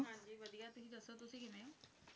ਹਾਂ ਜੀ ਵਧੀਆ ਤੁਸੀ ਦੱਸੋ ਤੁਸੀ ਕਿਵੇਂ ਹੋ